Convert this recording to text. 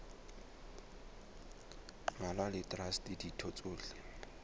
mmalwa le traste ditho tsohle